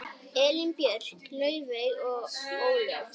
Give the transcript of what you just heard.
Elín Björk, Laufey og Ólöf.